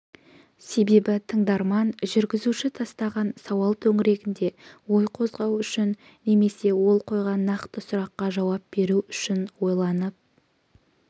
себебі тыңдарман жүргізуші тастаған сауал төңірегінде ой қозғау үшін немесе ол қойған нақты сұраққа жауап беру үшін ойланып